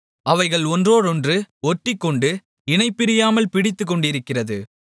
அவைகள் ஒன்றோடொன்று ஒட்டிக்கொண்டு இணைபிரியாமல் பிடித்துக்கொண்டிருக்கிறது